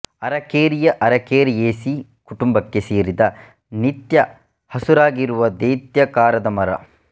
ಅರಕೇರಿಯ ಅರಕೇರಿಯೇಸೀ ಕುಟುಂಬಕ್ಕೆ ಸೇರಿದ ನಿತ್ಯ ಹಸುರಾಗಿರುವ ದೈತ್ಯಾಕಾರದ ಮರ